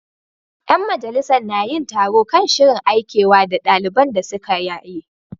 Yan majalisar na yin taro kan shirin Aikewa da daliban da suka yaye.